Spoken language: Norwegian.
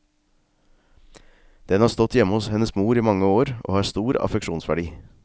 Den har stått hjemme hos hennes mor i mange år, og har stor affeksjonsverdi.